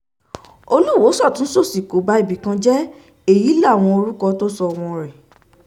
olùwọ́ sọ́tún sósì kò ba ibì kan jẹ́ èyí láwọn orúkọ tó sọ ọmọ rẹ̀